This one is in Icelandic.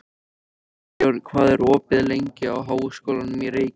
Arinbjörn, hvað er opið lengi í Háskólanum í Reykjavík?